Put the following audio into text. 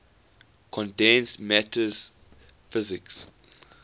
condensed matter physics